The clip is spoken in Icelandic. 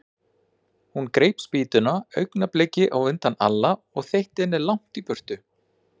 Hún greip spýtuna augnabliki á undan Alla og þeytti henni langt í burtu.